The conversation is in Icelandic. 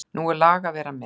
Nú er lag að vera með!